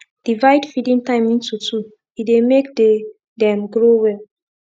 divide feeding time into two e dey make the them grow well